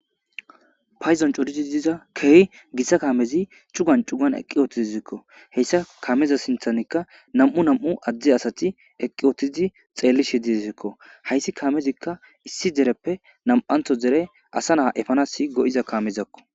Payzon coridi diza keehi gitta kaamezi cugan cugan eqqi utizikko. Heyssa kaameza sinthanikka nam7u nam7u addi asati eqqi utizi xeellishe dizekko hayssi kaamezikka issi dereppe nam7antho dere asa naa efanasi go7iza kaamezakko.